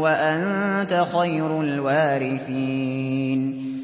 وَأَنتَ خَيْرُ الْوَارِثِينَ